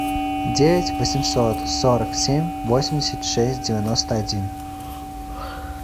девять восемьсот сорок семь восемьдесят шесть девяносто один